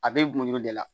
A bɛ gulon de la